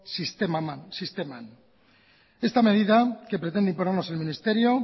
sisteman esta medida que pretende imponernos el ministerio